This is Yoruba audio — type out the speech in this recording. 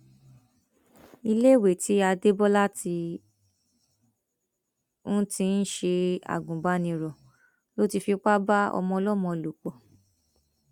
iléèwé tí adébólà ti ń ti ń ṣe agùnbánirò ló ti fipá bá ọmọọlọmọ lò pọ